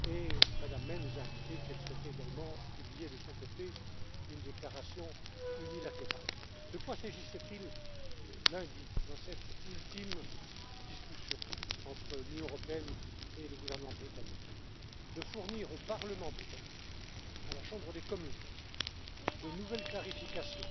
Mme May nous a indiqué qu'elle souhaitait également publier de son côté une déclaration unilatérale. De quoi s'agissait il lundi, dans cette ultime discussion entre l'Union européenne et le gouvernement britannique? Il s'agissait de fournir au Parlement britannique, à la Chambre des communes, de nouvelles clarifications,